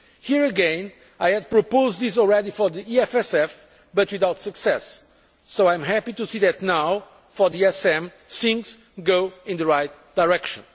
Here again, I had proposed this already for the EFSF, but without success. So I am happy to see that now, for the ESM, things are going in the right direction.